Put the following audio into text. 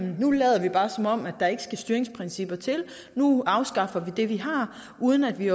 nu lader vi bare som om der ikke skal styringsprincipper til nu afskaffer vi det vi har uden at vi